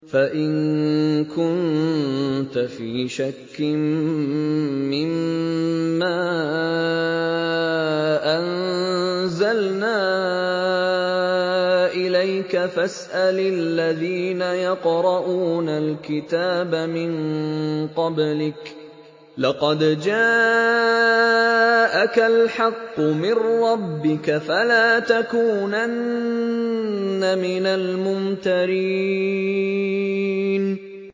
فَإِن كُنتَ فِي شَكٍّ مِّمَّا أَنزَلْنَا إِلَيْكَ فَاسْأَلِ الَّذِينَ يَقْرَءُونَ الْكِتَابَ مِن قَبْلِكَ ۚ لَقَدْ جَاءَكَ الْحَقُّ مِن رَّبِّكَ فَلَا تَكُونَنَّ مِنَ الْمُمْتَرِينَ